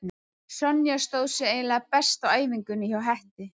Sonja stóð sig eiginlega best á æfingunni hjá Hetti.